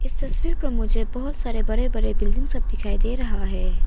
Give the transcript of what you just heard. इस तस्वीर पर मुझे बहोत सारे बरे बरे बिल्डिंग सब दिखाई दे रहा है।